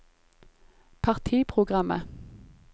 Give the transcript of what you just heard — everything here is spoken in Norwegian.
partiprogrammet